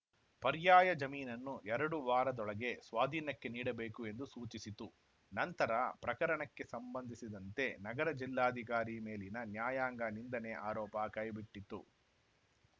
ಪರ್ಯಾಯ ಜಮೀನನ್ನು ಎರಡು ವಾರದೊಳಗೆ ಸ್ವಾಧೀನಕ್ಕೆ ನೀಡಬೇಕು ಎಂದು ಸೂಚಿಸಿತು ನಂತರ ಪ್ರಕರಣಕ್ಕೆ ಸಂಬಂಧಿಸಿದಂತೆ ನಗರ ಜಿಲ್ಲಾಧಿಕಾರಿ ಮೇಲಿನ ನ್ಯಾಯಾಂಗ ನಿಂದನೆ ಆರೋಪ ಕೈಬಿಟ್ಟಿತು